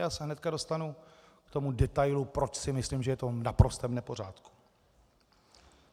Já se hned dostanu k tomu detailu, proč si myslím, že je to v naprostém nepořádku.